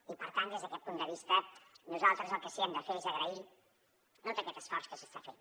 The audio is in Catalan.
i per tant des d’aquest punt de vista nosaltres el que sí que hem de fer és agrair tot aquest esforç que s’està fent